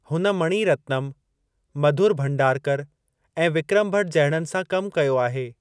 हुन मनी रत्नम, मधुर भंडारकर ऐं विक्रम भट जहिड़नि सां कमु कयो आहे।